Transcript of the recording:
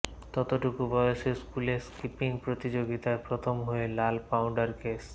অতটুকু বয়সে স্কুলে স্কিপিং প্রতিযোগিতায় প্রথম হয়ে লাল পাউডার কেস